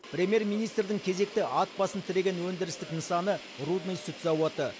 премьер министрдің кезекті ат басын тіреген өндірістік нысаны рудный сүт зауыты